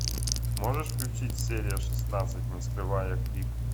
можешь включить серия шестнадцать не скрывая крик